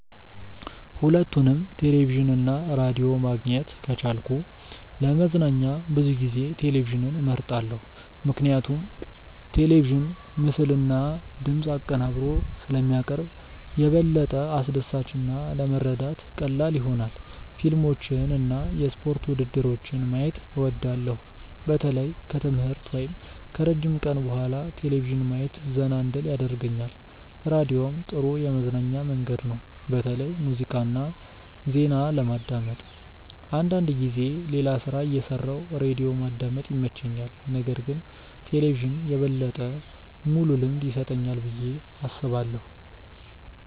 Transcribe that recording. ሁለቱንም ቴሌቪዥን እና ራዲዮ ማግኘት ከቻልኩ ለመዝናኛ ብዙ ጊዜ ቴሌቪዥንን እመርጣለሁ። ምክንያቱም ቴሌቪዥን ምስልና ድምፅ አብሮ ስለሚያቀርብ የበለጠ አስደሳች እና ለመረዳት ቀላል ይሆናል። ፊልሞችን እና የስፖርት ውድድሮችን ማየት እወዳለሁ። በተለይ ከትምህርት ወይም ከረጅም ቀን በኋላ ቴሌቪዥን ማየት ዘና እንድል ያደርገኛል። ራዲዮም ጥሩ የመዝናኛ መንገድ ነው፣ በተለይ ሙዚቃ እና ዜና ለማዳመጥ። አንዳንድ ጊዜ ሌላ ሥራ እየሠራሁ ራዲዮ ማዳመጥ ይመቸኛል። ነገር ግን ቴሌቪዥን የበለጠ ሙሉ ልምድ ይሰጠኛል ብዬ አስባለሁ።